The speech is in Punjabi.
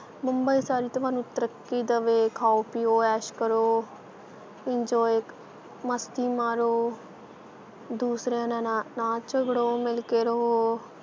ਬੰਬੀ ਸਾਰੀ ਤੁਹਾਨੂੰ ਤਰੱਕੀ ਦਵੇ ਖਾਓ ਪੀਓ ਐਸ਼ ਕਰੋ enjoy ਮਸਤੀ ਮਾਰੋ ਦੂਸਰਿਆਂ ਨਾ ਨਾ ਨਾ ਝਗੜੋ ਮਿਲ ਕੇ ਰਹੋ,